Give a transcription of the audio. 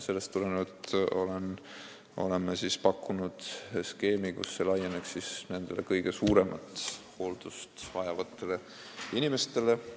Sellest tulenevalt oleme pakkunud skeemi, et see kehtiks kõige rohkem hooldust vajavate inimeste kohta.